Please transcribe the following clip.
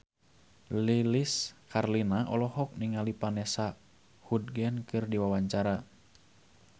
Lilis Karlina olohok ningali Vanessa Hudgens keur diwawancara